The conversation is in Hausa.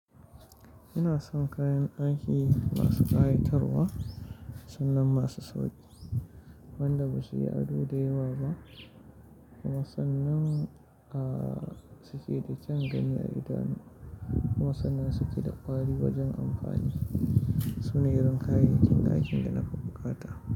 Ina son kayan aiki masu ƙayatarwa, sannan masu sauƙi wanda ba su yi ado da yawa ba kuma sannan, ah, suke da kyan gani na idanu kuma sannan suke da ƙwari wajen amfani. Sune irin kayayyakin daikin da na fi bukata.